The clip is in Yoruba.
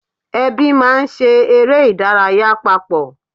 Ẹbí máa ń ṣe eré ìdárayá papọ̀